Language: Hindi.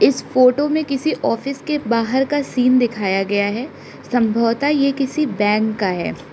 इस फोटो में किसी ऑफिस के बाहर का सीन दिखाया गया है संभवतः यह किसी बैंक का है।